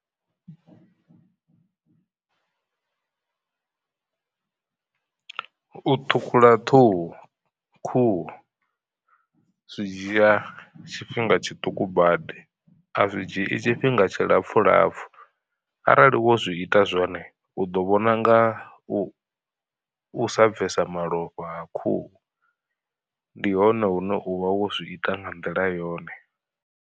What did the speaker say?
U ṱhukhula ṱhuhu khuhu zwi dzhia tshifhinga tshiṱuku badi a zwi dzhii tshifhinga tshilapfu lapfu. Arali wo zwi ita zwone u ḓo vhona nga u sa bvesa malofha ha khuhu, ndi hone hune u vha wo zwi ita nga nḓila yone.